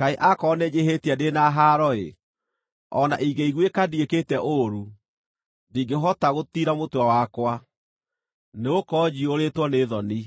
Kaĩ akorwo nĩnjĩhĩtie ndĩ na haaro-ĩ! O na ingĩiguĩka ndiĩkĩte ũũru, ndingĩhota gũtiira mũtwe wakwa, nĩgũkorwo njiyũrĩtwo nĩ thoni,